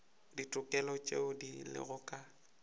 ditokelo tšeo di lego ka